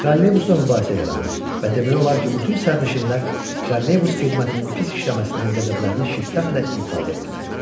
Trolleybusda mübahisə yarandı və demək olar ki, bütün sərnişinlər trolleybus xidmətinin pis işləməsindən qəzəblərini şiddətlə ifadə etdilər.